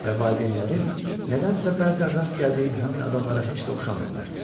Və valideynlərim nədənsə bəzən rast gəldiyim həmin adamlara heç də oxşamırlar.